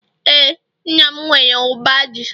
ee, nna m nwere uba ji